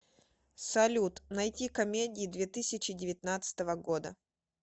салют найти комедии две тысячи девятнадцатого года